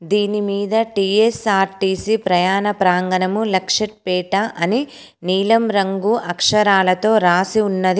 దీని మీద టీ_ఎస్_ఆర్_టీ_సీ ప్రయాణ ప్రాంగణము లక్షెట్ పేట అని నీలం రంగు అక్షరాలతో రాసి ఉన్నది.